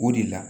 O de la